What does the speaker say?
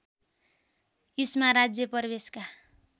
इस्मा राज्य प्रवेशका